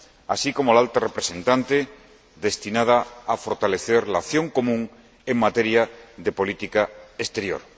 así como el Alto Representante, destinado a fortalecer la acción común en materia de política exterior.